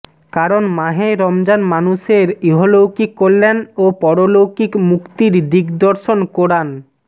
কারণ মাহে রমজান মানুষের ইহলৌকিক কল্যাণ ও পারলৌকিক মুক্তির দিগ্দর্শন কোরআন